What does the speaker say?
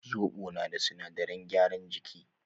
Zobo na da sinadaran gyaran jiki